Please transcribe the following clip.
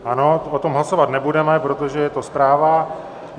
Ano, o tom hlasovat nebudeme, protože je to zpráva.